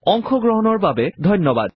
অংশ গ্ৰহণৰ বাবে আপোনালৈ ধন্যবাদ